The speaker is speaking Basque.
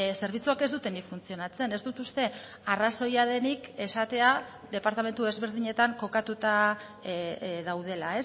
zerbitzuak ez dutenik funtzionatzen ez dut uste arrazoia denik esatea departamentu desberdinetan kokatuta daudela